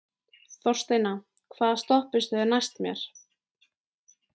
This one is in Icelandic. Þorsteina, hvaða stoppistöð er næst mér?